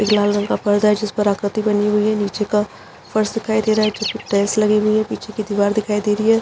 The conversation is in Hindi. एक लाल रंग का पर्दा है जिस पर आकृति बनी हुई है नीचे का फर्श दिखाई दे रहा है जो की टाइल्स लगी हुई है पीछे की दिवार दिखाई दे रही है।